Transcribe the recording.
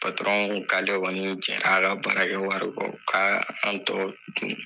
patɔrɔn ko k'ale kɔni jɛr'a ka baarakɛ wari kɔ ka an tɔ dun